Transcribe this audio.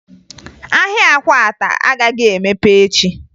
Ahịa akwata agaghị emepe echi